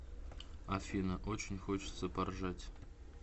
афина очень хочется поржать